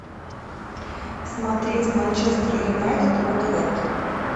смотреть манчестер юнайтед уотфорд